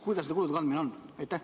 Kuidas nende kulude kandmisega on?